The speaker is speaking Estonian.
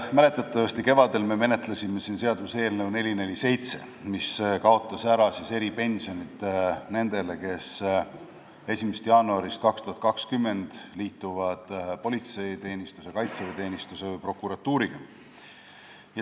Mäletatavasti menetlesime kevadel siin seaduseelnõu 447, mis kaotas ära eripensionid nendel, kes 1. jaanuarist 2020 liituvad politseiteenistuse, kaitseväeteenistuse või prokuratuuriga.